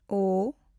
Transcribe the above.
ᱳ